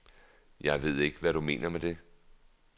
Jeg ved ikke, hvad du mener med det.